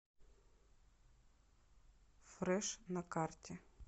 фреш на карте